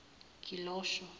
gilisho